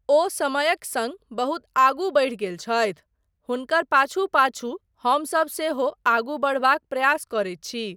ओ समयक सङ्ग बहुत आगू बढ़ि गेल छथि, हुनकर पाछू पाछू हमसब सेहो आगू बढ़बाक प्रयास करैत छी।